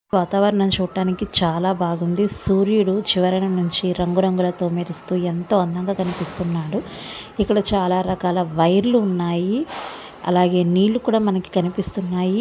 వాతావరణం చూడడానికి చాలా బాగుంది. సూర్యుడు చివరన నుంచి రంగు రంగులతో మెరుస్తూ ఎంతో అందంగా కనిపిస్తున్నాడు. ఇక్కడ చాలా రకాల వైర్లు ఉన్నాయి. అలాగే నీళ్ళు కూడా మనకు కనిపిస్తున్నాయి.